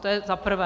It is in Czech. To je za prvé.